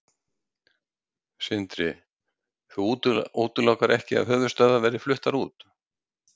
Sindri: Þú útilokar ekki að höfuðstöðvar verði fluttar út?